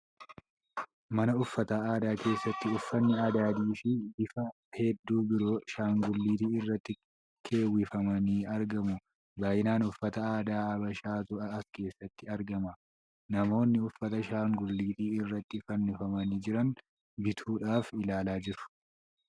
Mana uffata aadaa keessatti uffanni adadii fi bifa hedduu biroo shaangulliitii irratti keewwifamanii argamu. Baay'inaan uffata aadaa Habashaatu as keessatti argama. Namoonni uffata shaanguliitii irraatti fannifamanii jiran bituudhaaf ilaalaa jiru.